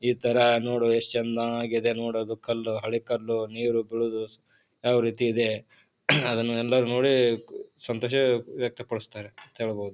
ಈ ತರ ನೋಡು ಎಷ್ಟು ಚಂದವಾಗಿದೆ ನೋಡ ಅದು ಕಲ್ಲು ಹಳೆ ಕಲ್ಲು ನೀರು ಬೀಳೋದು ಯಾವ್ ರೀತಿ ಇದೆ ಅದನೆಲ್ಲಾರು ನೋಡಿ ಸಂತೋಷ ವ್ಯಕ್ತಪಡಿಸ್ತಾರೆ ಅಂತ ಹೇಳಬಹುದು.